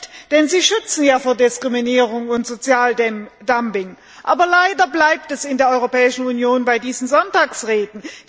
Zu Recht, denn sie schützen ja vor Diskriminierung und Sozialdumping. Aber leider bleibt es in der Europäischen Union bei diesen Sonntagsreden.